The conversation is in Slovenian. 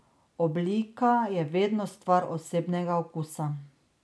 Oblika je vedno stvar osebnega okusa.